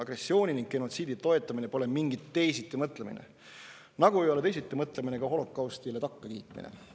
Agressiooni ning genotsiidi toetamine pole mingi teisitimõtlemine, nagu ei ole teisitimõtlemine ka holokaustile takkakiitmine.